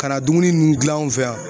Ka na dumuni nunnu gilan anw fɛ yan.